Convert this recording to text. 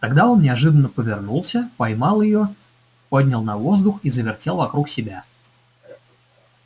тогда он неожиданно повернулся поймал её поднял на воздух и завертел вокруг себя